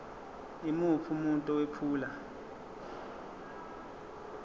yimuphi umuntu owephula